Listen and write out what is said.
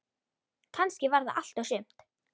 Kannski var það allt og sumt.